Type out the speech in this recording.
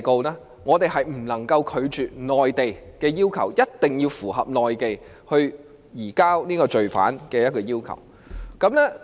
就此，我們是不能拒絕內地的要求，一定要符合內地移交罪犯的要求。